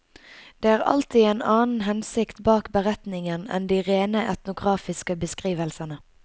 Det er alltid en annen hensikt bak beretningen enn de rene etnografiske beskrivelsene.